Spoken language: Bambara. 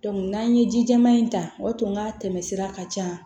n'an ye ji jɛman in ta o y'a to n ka tɛmɛ sira ka ca